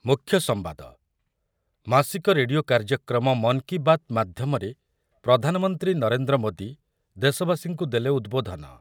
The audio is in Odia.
ମୁଖ୍ୟ ସମ୍ବାଦ, ମାସିକ ରେଡ଼ିଓ କାର୍ଯ୍ୟକ୍ରମ ମନ୍ କୀ ବାତ୍ ମାଧ୍ୟମରେ ପ୍ରଧାନମନ୍ତ୍ରୀ ନରେନ୍ଦ୍ର ମୋଦି ଦେଶବାସୀଙ୍କୁ ଦେଲେ ଉଦବୋଧନ ।